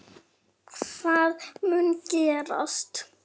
Hvað mun gerast?